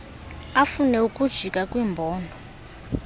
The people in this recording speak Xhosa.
afune ukujika kwiimbono